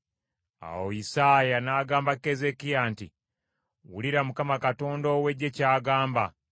Awo Isaaya n’agamba Keezeekiya nti, “Wuliriza Mukama Katonda ow’Eggye ky’agamba: